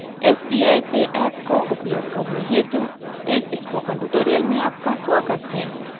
sbi pay app को उपयोग करने हेतु इस स्पोकन ट्यूटोरियल में आपका स्वागत है